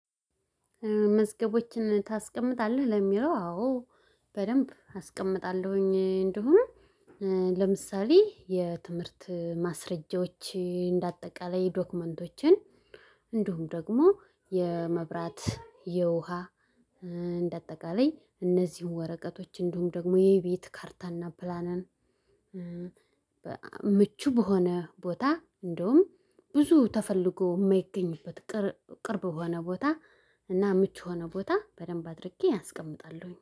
መዝገቦችን ታስቀምጣለህ ለሚለው አዎ በደንብ አስቀምጣለሁኝ። እንደውም ለምሳሌ የትምህርት ማስረጃዎች እንደ አጠቃላይ ዶክመንቶችን እንዲሁም ደግሞ የመብራት የውሃ እንደ አጠቃላይ እነዚህን ወረቀቶች እንዲሁም ደግሞ የቤት ካርታና ፕላንን። ምቹ በሆነ ቦታ እንደውም ብዙ ተፈልጎ የማይገኝበት ቅርብ በሆነ ቦታ እና ምቹ የሆነ ቦታ በደንብ አድርጌ አስቀምጣለሁኝ